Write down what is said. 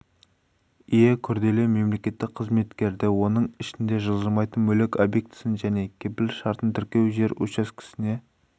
ие күрделі мемлекеттік қызметтерді оның ішінде жылжымайтын мүлік объектісін және кепіл шартын тіркеу жер учаскесіне